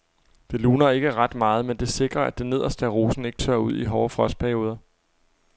Det luner ikke ret meget, men det sikrer at det nederste af rosen ikke tørrer ud i hårde frostperioder.